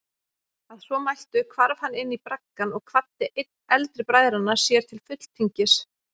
Að svo mæltu hvarf hann inní braggann og kvaddi einn eldri bræðranna sér til fulltingis.